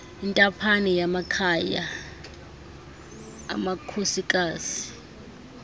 intaphane yamakhaya amakhosikazi